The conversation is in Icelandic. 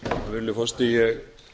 virðulegi forseti ég